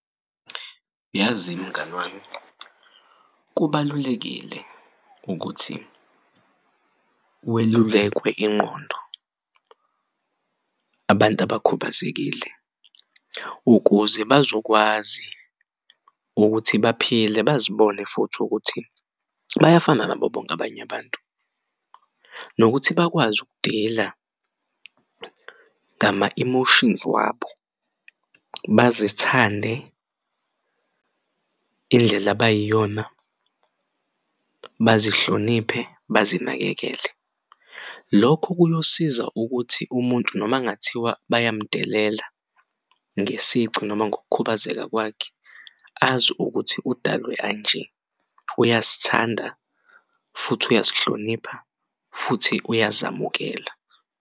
Yazi mngani wami kubalulekile ukuthi welulekwe ingqondo. Abantu abakhubazekile ukuze bazokwazi baphile bazibone futhi ukuthi bayafana nabo bonke abany'abantu nokuthi bakwazi ukudila ngama-emotions wabo, bazithande indlela abayiyona, bazihloniphe, bazinakekele. Lokho kuyosiza ukuthi umuntu noma kungathiwa bayamudelela ngesici noma ngokukhubazeka kwakhe azi ukuthi udalwe anje uyasithanda futhi uyazihlonipha futhi uyazamukela.